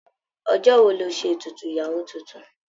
Ọjọ́ wo lọ́ ṣe ètùtù ìyàwó tuntun?